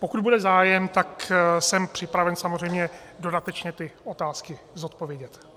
Pokud bude zájem, tak jsem připraven samozřejmě dodatečně ty otázky zodpovědět.